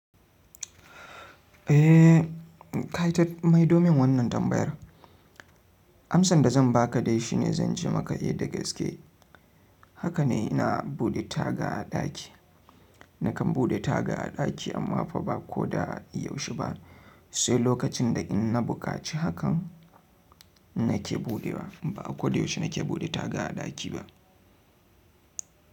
Eh, kai ta mai domin wannan tambayar. Amsan da zan baka dai shi ne zan ce maka eh da gaske. Haka ne ina bude taga a ɗaki. Nakan bude taga a ɗaki amma fa ba ko da yaushe ba. Sai lokacin da in na buƙaci hakan nake buɗewa. Ba a ko da yaushe nake bude taga a ɗaki ba.